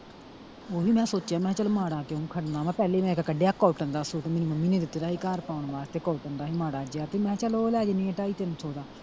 ਉਹਵੀ ਮੈਂ ਸੋਚਿਆ ਮੈਂ ਕਿਹਾ ਚਲ ਮਾੜਾ ਕਿਉਂ ਖੜਨਾ ਵਾ ਪਹਿਲੇ ਮੈਂ ਇਕ ਕੱਡਿਆ cotton ਦਾ ਸੂਟ ਮੇਰੀ ਮੰਮੀ ਨੇ ਦਿੱਤੇ ਦਾ ਸੀ ਘਰ ਪਾਉਣ ਵਾਸਤੇ cotton ਦਾ ਸੀ ਮਾੜਾ ਜੇਹਾ ਤੇ ਮੈਂ ਕਿਹਾ ਚਲ ਉਹ ਲੈ ਜਾਂਦੀ ਆ ਢਾਈ ਤਿੰਨ ਸੋ ਦਾ।